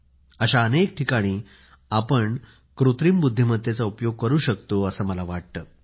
अशा अनेक ठिकाणी आपण कृत्रिम बुद्धिमत्तेचा उपयोग करू शकतो असं मला वाटते